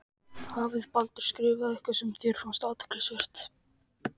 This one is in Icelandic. Hafði Baldur skrifað eitthvað sem þér fannst. athyglisvert?